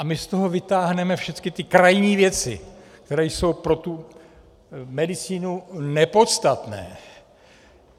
A my z toho vytáhneme všecky ty krajní věci, které jsou pro tu medicínu nepodstatné.